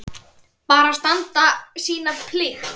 Bara standa sína plikt.